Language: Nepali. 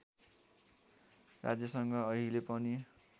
राज्यसँग अहिले पनि